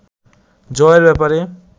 জয়ের ব্যাপারে